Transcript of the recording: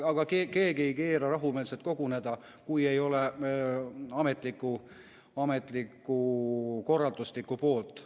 Aga keegi ei keela rahumeelselt koguneda, kui ei ole ametlikku korralduslikku poolt.